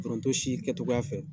Foronto si kɛtogoya fɛ.